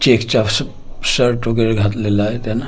चेक्सचा श शर्ट वगेरे घातलेला आहे त्यानं .